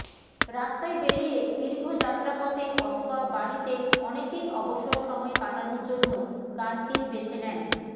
রাস্তায় বেরিয়ে দীর্ঘ যাত্রাপথে অথবা বাড়িতে অনেকেই অবসর সময় কাটানোর জন্য গানকেই বেছে নেন